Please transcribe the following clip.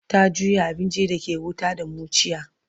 ta juya abincin da ke wuta da muciya